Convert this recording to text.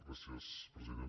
gràcies president